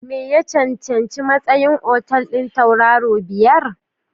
Me Ya Cancanci Matsayin Otal ɗin Tauraro Biyar?